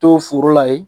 To foro la ye